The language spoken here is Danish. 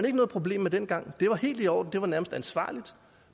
ikke noget problem med dengang det var helt i orden det var nærmest ansvarligt